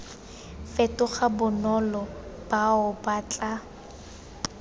fetoga bonolo bao ba tla